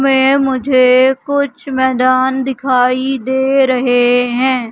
मैं मुझे कुछ मैदान दिखाई दे रहे हैं।